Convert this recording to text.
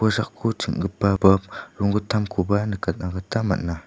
kosako ching·gipa balp rongittamkoba nikatna gita man·a.